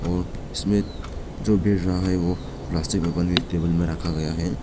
और इसमें जो रहा है वो प्लास्टिक में भरके इस टेबल पर रखा गया है।